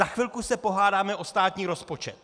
Za chvilku se pohádáme o státní rozpočet.